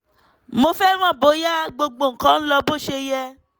mo fẹ́ mọ̀ bóyá gbogbo nǹkan ń lọ bó ṣe yẹ